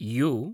you